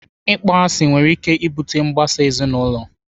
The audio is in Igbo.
Ịkpọ asị nwere ike ibute mgbasa ezinaụlọ.